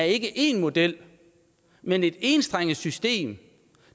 ikke er én model men et enstrenget system